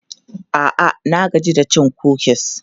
A'a, na gaji da cin kukis.